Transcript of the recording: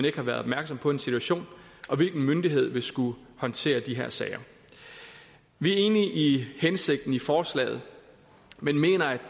ikke har været opmærksom på en situation og hvilken myndighed vil skulle håndtere de her sager vi er enige i hensigten med forslaget men mener